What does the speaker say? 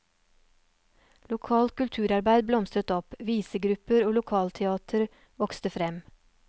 Lokalt kulturarbeid blomstret opp, visegrupper og lokalteater vokste frem.